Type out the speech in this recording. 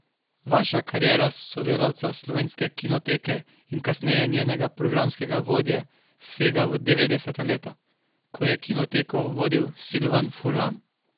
Vaša kariera sodelavca Slovenske kinoteke in kasneje njenega programskega vodje sega v devetdeseta leta, ko je Kinoteko vodil Silvan Furlan.